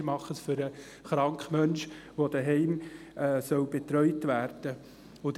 Wir machen es für den kranken Menschen, der daheim betreut werden soll.